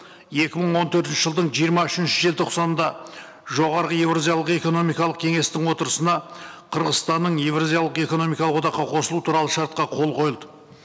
екі мың он төртінші жылдың жиырма үшінші желтоқсанында жоғарғы еуразиялық экономикалық кеңестің отырысына қырғызстанның еуразиялық экономикалық одаққа қосылуы туралы шартқа қол қойылды